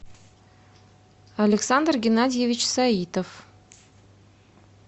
александр геннадьевич саитов